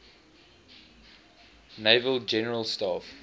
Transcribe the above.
naval general staff